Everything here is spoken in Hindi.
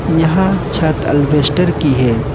यहां छत एल्बेस्टर की है।